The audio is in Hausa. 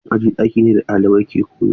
Ɗakin aji ɗaki ne da ɗalibai ke koyo.